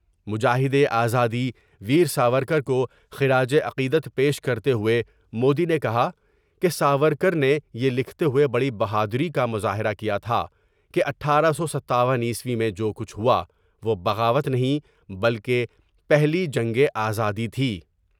مجاہد آزادی ویر ساورکر کو خراج عقیدت پیش کرتے ہوۓ مودی نے کہا کہ ساور کر نے یہ لکھتے ہوئے بڑی بہادری کا مظاہر کیا تھا کہ اٹھارہ سو ستاون میں جو کچھ ہواوہ بغاوت نہیں بلکہ پہلی جنگ آزادی تھی ۔